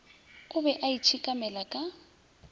o be a itshekamela ka